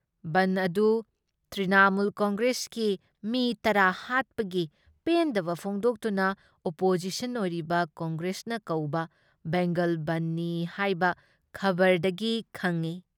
ꯕꯟꯗ ꯑꯗꯨ ꯇ꯭ꯔꯤꯅꯥꯃꯨꯜ ꯀꯪꯒ꯭ꯔꯦꯁꯀꯤ ꯃꯤ ꯇꯔꯥ ꯍꯥꯠꯄꯒꯤ ꯄꯦꯟꯗꯕ ꯐꯣꯡꯗꯣꯛꯇꯨꯅ ꯑꯣꯄꯣꯖꯤꯁꯟ ꯑꯣꯏꯔꯤꯕ ꯀꯪꯒ꯭ꯔꯦꯁꯅ ꯀꯧꯕ ꯕꯦꯡꯒꯜ ꯕꯟꯗꯅꯤ ꯍꯥꯏꯕ ꯈꯕꯔꯗꯒꯤ ꯈꯪꯏ ꯫